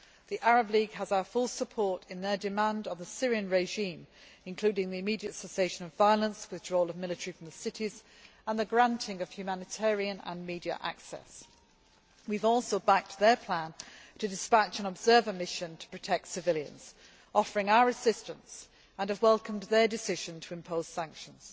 The Arab League has our full support in their demands on the Syrian regime, including the immediate cessation of violence, withdrawal of military from cities, and the granting of humanitarian and media access. We have also backed their plan to dispatch an observer mission to protect civilians, offering our assistance, and have welcomed their decision to impose sanctions.